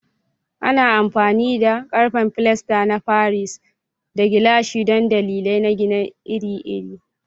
Ana amfani da ƙarfe, filasta na Paris, da gilashi don dalilai na gini iri-iri.